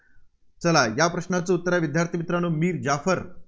चला या प्रश्नाचं उत्तर आहे मित्रांनो मीर जाफर